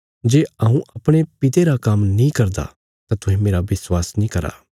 जे हऊँ अपणे पिता रा काम्म नीं करदा तां तुहें मेरा विश्वास नीं करा